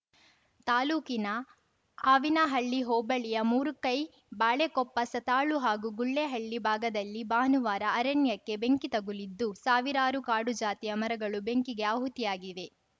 ತಾಲೂಕಿನ ಆವಿನಹಳ್ಳಿ ಹೋಬಳಿಯ ಮೂರುಕೈ ಬಾಳೆಕೊಪ್ಪ ಸತಾಳು ಹಾಗೂ ಗುಳೆಹಳ್ಳಿ ಭಾಗದಲ್ಲಿ ಭಾನುವಾರ ಅರಣ್ಯಕ್ಕೆ ಬೆಂಕಿ ತಗುಲಿದ್ದು ಸಾವಿರಾರು ಕಾಡುಜಾತಿಯ ಮರಗಳು ಬೆಂಕಿಗೆ ಆಹುತಿಯಾಗಿವೆ